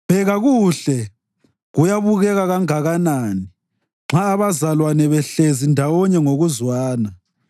Bheka kuhle, kuyabukeka kangakanani nxa abazalwane behlezi ndawonye ngokuzwana!